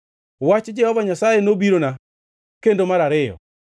Wach Jehova Nyasaye nobirona kendo mar ariyo: